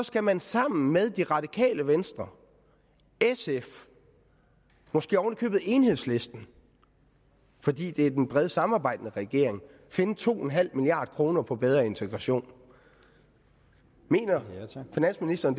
skal man sammen med det radikale venstre sf måske oven i købet enhedslisten fordi det er den brede samarbejdende regering finde to en halv milliard kroner på bedre integration mener finansministeren